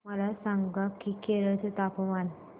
मला सांगा की केरळ चे तापमान